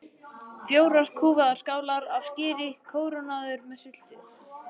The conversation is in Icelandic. Fjórar kúfaðar skálar af skyri kórónaðar með sultu.